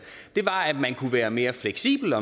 var bare at man kunne være mere fleksibel